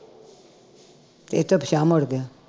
ਤੇ ਇਥੋ ਪਿਛਾਂਹ ਮੁੜ ਗਿਆ